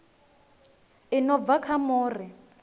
i no bva kha muri